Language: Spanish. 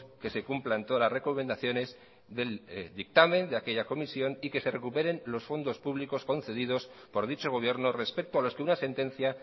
que se cumplan todas las recomendaciones del dictamen de aquella comisión y que se recuperen los fondos públicos concedidos por dicho gobierno respecto a los que una sentencia